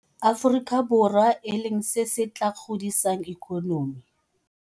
Aforika Borwa e leng se se tla godisang ikonomi.